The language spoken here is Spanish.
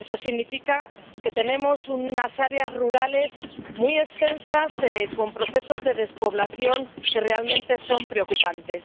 Eso significa que tenemos unas áreas rurales muy extensas, con procesos de despoblación que realmente son preocupantes.